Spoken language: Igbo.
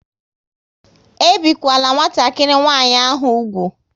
E bikwala nwatakịrị nwanyị ahụ úgwù!